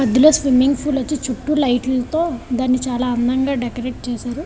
మధ్యలో swimming pool ఉంది. చుట్టు లైట్ లతో దాని చాలా అందం గా డెకొరేట్ చేసారు.